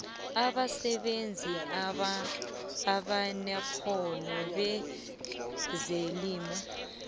abasebenzi abanekghono bezelimo